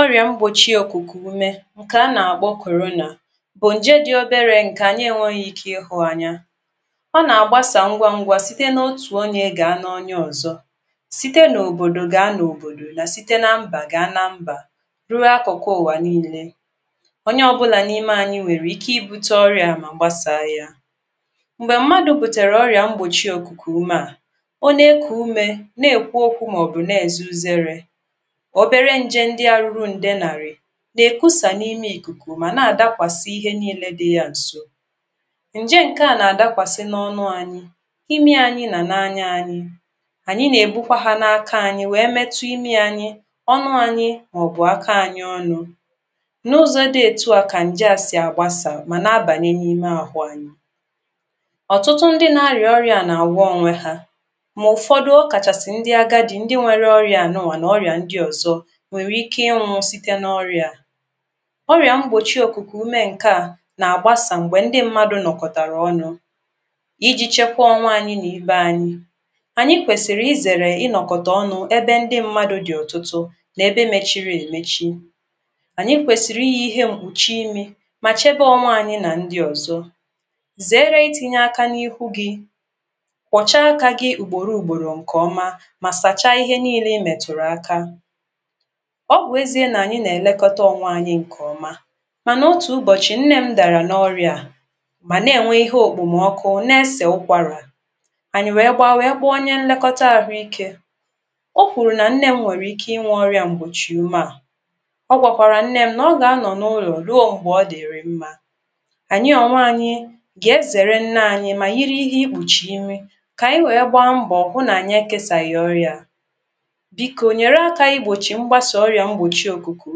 ó̙rì̙à ḿkpòchī̙ òkwù̙kwù̙ ū̙mɛ̄ ǹkè há nà kpō̙ kòrōnà bù̙ ǹjé dɪ̄ óbérē ǹkè ànyī é nwē ike ɪ́ hū̙n ānyā ó̙ nà gbásǎ ńgwán̄gwā sìtē n ótǔ ónyē gǎ nà ónyé ò̙zō̙ síté nòbòdò gǎ n òbòdò nà síté nā ḿbà gǎ nā ḿbà rú̙rú̙ ákwù̙kwū̙ ù̙wà nílē ónyé ō̙būlà ní:mé ānyī nwèrè íké í būtē órɪà mà gbásǎ yā m̀gbè̙ m̀mādù̙ bùtèrè ó̙ri̙à̙ mkpòchì òkwùkwù ūmē à ó né kwù ūmē nè kwú ókwū m ò̙bù̙ n è zú̙ ú̙zé̙rē̙ óbéré ńjē ńdí̙ ārū̙rū̙ ǹdē nà rī̙ nè kʷú̙sǎ n ímé ì̙kwù̙kwù̙ mà nâ dákwàsī̙ íhé nílē dī̙ jā ǹ̩sō ǹjé ǹkè â nà dákwàsī̙ nó̙nú̙ ānyī í̙mí̙ ānyī nà n ányá ānyī̙ ànyí n è bú̙kwá hā n ākā ānyī wě méchí í̙mí̙ ānyī̙ ó̙nú̙ ānyī̙ m ò̙ bù̙ áká ānyī̙ ó̙nū̙ n ū̙́zò dī̙ ètū à kà ǹjē à sì̙ gbásǎ mà nà àbanyē nà ímé ànyī̙ ò̙tú̙tú̙ ńdí̙ nā rì̙ ó̙rɪ̄à nà à gwō̙ ónwē hā mà ù̙fō̙dū̙ ó̙ kàchàsì̙ ńdí̙ ágádī̙ ńdí̙ nwē ó̙rì̙à nũ̙̄wà n ó̙rì̙à ńdí̙ ò̙zō̙ wè nwé íké ī̙ síté nā ó̙rī̙à à ó̙rì̙à ḿkpòchī̙ òkwù̙kwù̙ ū̙mɛ̄ ǹká à nà à gbásǎ m̀gbè̙ ńdɪ́ m̄mādʊ̀ nò̙kò̙tàrà ó̙nū̙ í jī chēkwā ō̙nwū̙ nà èbē ānyī ànyī kwèsìrì í zèrè í̙nò̙k̀ò̙tà ó̙nū̙ ébé ńdí̙ m̄mādù̙ dɪ̀ ò̙tū̙tū̙ n ébé mēchīrī è mēchī ànyí kwèsìrì í jī íhé m̀kpù̙chī̙ í̙mī mà chēbē n̄nwē ānyī̙ nà n̄dī̙ ò̙zō̙ zě̙ré̙ í tīnyē ākā gī̙ ní̙hú̙ gī̙ kpò̙chá ākā gī̙ ùgbù̙lū̙ù̙gbù̙lù̙ ǹkè ō̙mā mà sàchā íhé nílē í mètùrù ākā ó̙ bù̙ éziɛ̄ nà ànyī nà è lékó̙tá ōnwē ānyī̙ ǹkè ō̙mā mànà ōtū m̀bò̙chì ǹnē m̄ dàrà nó̙ rī̙à à mà nā è nwē hôkpò mà ō̙kwū̙ n è: sē ú̙kwàrà ànyì̙ wě gbā wě kpō̙ ónyéńlékó̙tá àhū̙ íkē ó kwù̙rù̙ nà n̄né m̄ wè̙rè̙ īkē nwē ó̙rīà ḿkpù̙chī̙ ī̙mī̙ ó̙ gwàkwàrà n̄nē m̄ nà ó̙ gā nò̙ nūnò̙ rú̙ó m̀gbè̙ ō̙ dì̙rì̙ m̄mā ànyī̙ ònwē ānyī̙ gà é zè̙rē̙ ńnā ānyī̙ mà yí̙ íhé í̙kpù̙chì̙ ī̙mī̙ kà ànyī̙ wě gbāmbù̙ hũ̙̄n nà:nyī e kēsà ghì̙ ō̙rì̙à à bíkō nyèrē ákā íkpochi ḿgbasǎ ó̙rì̙à ḿkpòchī̙ òkwù̙kwù̙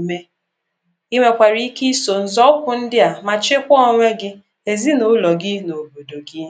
ū̙mɛ̄ í nwèkwàrà íké ísò zō̙pù̙ ńdɪ́ à mà chíkwá ōnwē gī̙ èzī nà ú̙lò̙ gī̙ n òbòdò gɪ̄